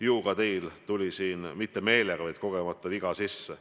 Ju ka teil tuli siin mitte meelega, vaid kogemata viga sisse.